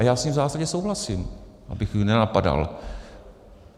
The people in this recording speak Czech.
A já s tím v zásadě souhlasím, abych ji nenapadal.